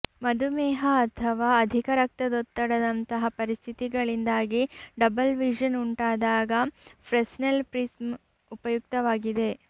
ಮಧುಮೇಹ ಅಥವಾ ಅಧಿಕ ರಕ್ತದೊತ್ತಡದಂತಹ ಪರಿಸ್ಥಿತಿಗಳಿಂದಾಗಿ ಡಬಲ್ ವಿಷನ್ ಉಂಟಾದಾಗ ಫ್ರೆಸ್ನೆಲ್ ಪ್ರಿಸ್ಮ್ ಉಪಯುಕ್ತವಾಗಿದೆ